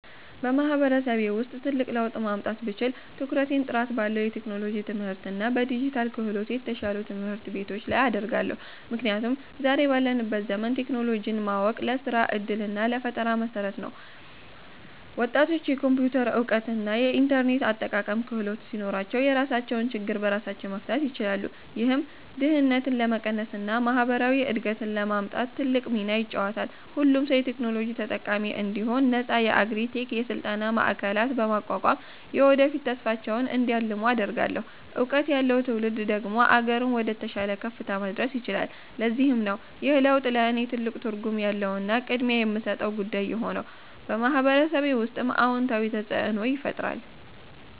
በማህበረሰቤ ውስጥ ትልቅ ለውጥ ማምጣት ብችል፣ ትኩረቴን ጥራት ባለው የቴክኖሎጂ ትምህርትና በዲጂታል ክህሎት፣ የተሻሉ ትምህርት ቤቶች ላይ አደርጋለሁ። ምክንያቱም ዛሬ ባለንበት ዘመን ቴክኖሎጂን ማወቅ ለስራ ዕድልና ለፈጠራ መሠረት ነው። ወጣቶች የኮምፒውተር እውቀትና የኢንተርኔት አጠቃቀም ክህሎት ሲኖራቸው፣ የራሳቸውን ችግር በራሳቸው መፍታት ይችላሉ። ይህም ድህነትን ለመቀነስና ማህበራዊ እድገትን ለማምጣት ትልቅ ሚና ይጫወታል። ሁሉም ሰው የቴክኖሎጂ ተጠቃሚ እንዲሆን ነፃ የአግሪ -ቴክ የስልጠና ማዕከላትን በማቋቋም፣ የወደፊት ተስፋቸውን እንዲያልሙ አደርጋለሁ። እውቀት ያለው ትውልድ ደግሞ አገርን ወደተሻለ ከፍታ ማድረስ ይችላል። ለዚህም ነው ይህ ለውጥ ለእኔ ትልቅ ትርጉም ያለውና ቅድሚያ የምሰጠው ጉዳይ የሆነው፤ በማህበረሰቤ ውስጥም አዎንታዊ ተፅእኖን ይፈጥራል።